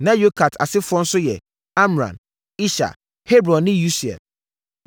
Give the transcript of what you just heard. Na Kohat asefoɔ nso yɛ: Amram, Ishar, Hebron ne Usiel.